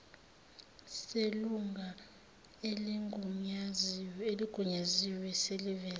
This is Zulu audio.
selunga eligunyaziwe seliveze